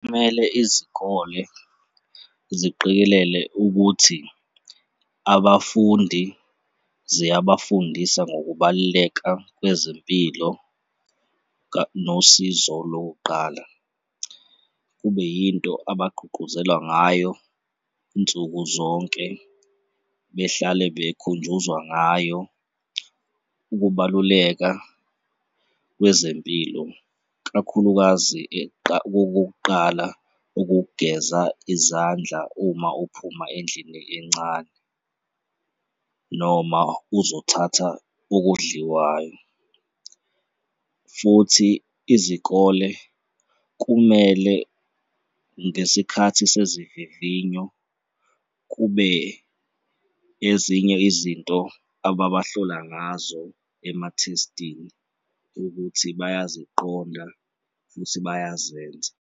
Kumele izikole ziqikelele ukuthi abafundi ziyabafundisa ngokubaluleka kwezempilo nosizo lokuqala, kube yinto abagqugquzela ngayo nsuku zonke, behlale bekhunjuzwa ngayo. Ukubaluleka kwezempilo kakhulukazi kokokuqala ukugeza izandla uma uphuma endlini encane noma uzothatha okudliwayo futhi izikole kumele ngesikhathi sezivivinyo kube ezinye izinto ababahlola ngazo emathestini ukuthi bayaziqonda futhi bayazenza.